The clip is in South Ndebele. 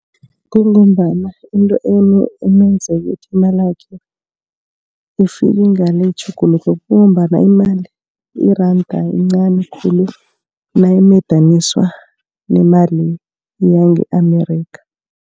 Kungombana into amenze ukuthi imalakhe ifike ngale itjhuguluke. Kungombana imali iranda lincani khulu nalimadaniswa nemali yange-America.